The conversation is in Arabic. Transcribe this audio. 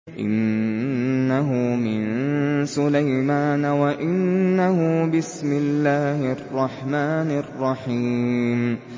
إِنَّهُ مِن سُلَيْمَانَ وَإِنَّهُ بِسْمِ اللَّهِ الرَّحْمَٰنِ الرَّحِيمِ